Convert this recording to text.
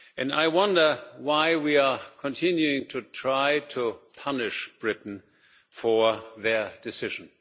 I wonder why we are continuing to try to punish Britain for their decision.